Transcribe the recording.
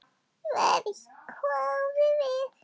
Verr, hváðum við.